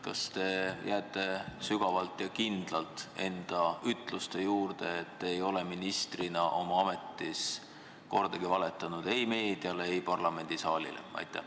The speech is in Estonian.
Kas te jääte sügavalt ja kindlalt enda ütluste juurde, et te ei ole ministriametis kordagi valetanud ei meediale, ei parlamendisaalile?